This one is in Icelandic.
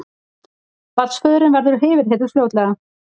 Barnsföðurinn verður yfirheyrður fljótlega